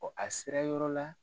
a sera yɔrɔ la.